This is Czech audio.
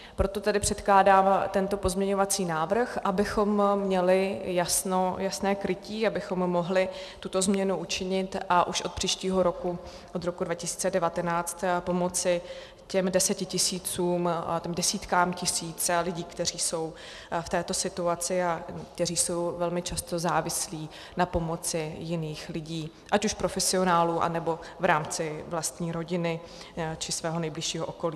Proto tedy předkládám tento pozměňovací návrh, abychom měli jasné krytí, abychom mohli tuto změnu učinit a už od příštího roku, od roku 2019, pomoci těm desítkám tisíc lidí, kteří jsou v této situaci a kteří jsou velmi často závislí na pomoci jiných lidí, ať už profesionálů, anebo v rámci vlastní rodiny, či svého nejbližšího okolí.